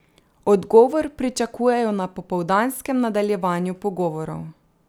Odgovor pričakujejo na popoldanskem nadaljevanju pogovorov.